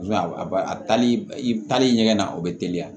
a ba a tali i taali ɲɛgɛn na o bɛ teliya